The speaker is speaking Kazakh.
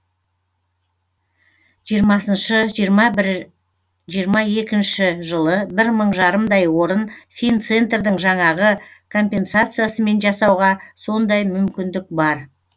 жиырмасыншы жиырма бір жиырма екінші жылы бір мың жарымдай орын финцентрдің жаңағы компенсациясымен жасауға сондай мүмкіндік бар